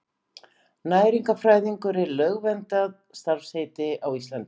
Næringarfræðingur er lögverndað starfsheiti á Íslandi.